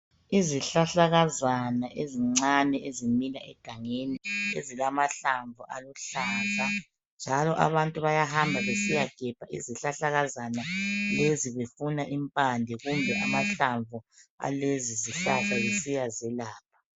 Isihlahlakazana ezincane ezimila egangeni ezilamahlamvu aluhlaza njalo abantu bayahamba besiyagebha izihlahlakazana lezi befuna impande kumbe amahlamvu alezi zihlahla besiya zelapha.